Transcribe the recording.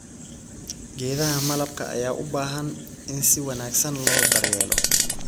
Geedaha malabka ayaa u baahan in si wanaagsan loo daryeelo.